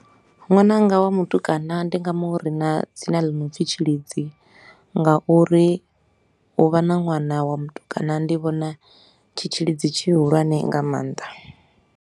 Nwananga wa mutukana ndi nga mu rina dzina ḽi no pfi Tshilidzi, ngauri u vha na ṅwana wa mutukana ndi vhona tshi tshilidzi tshihulwane nga maanḓa.